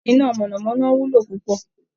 Iná mọ̀nà-mọ́ná wúlò púpọ̀